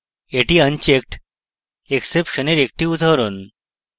এটি unchecked exception এর একটি উদাহরণ